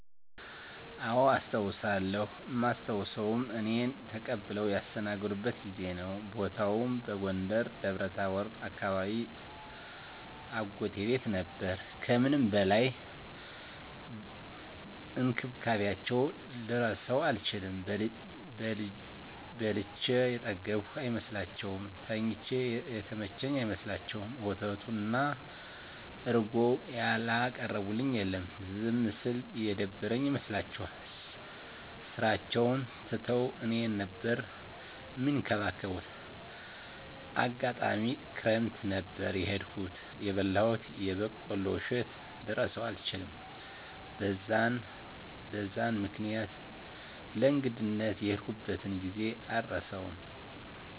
አዎ አስታዉሳለው እማስታዉሰዉም እኔን ተቀብለዉ ያስተናገዱበትን ጊዜ ነዉ። ቦታዉም በጎንደር ደብረታቦር አካባቢ አጎቴ ቤት ነበር ከምንም በላይ እንክብካቤያቸዉን ልረሳዉ አልችልም። በልቼ የጠገብኩ አይመስላቸዉም፣ ተኝቼ የተመቸኝ አይመስላቸዉም፣ ወተቱን እና እረጎዉን ያላቀረቡልኝ የለም። ዝም ስል የደበረኝ ይመስላቸዋል ስራቸዉን ትተዉ እኔን ነበር እሚንከባከቡት፣ አጋጣሚ ክረምት ነበር የሄድኩት የበላሁትን የበቆሎ እሸት ልረሳዉ አልችልም። በዛን በዛን ምክኒያት ለእንግድነት የሄድኩበትን ጊዜ አረሳዉም።